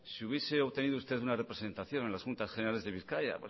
si hubiese obtenido usted una representación en las juntas generales de bizkaia